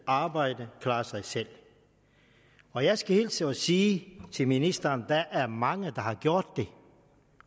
arbejde og klare sig selv og jeg skal hilse og sige til ministeren at der er mange der har gjort det